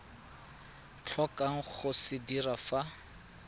tlhokang go se dira fa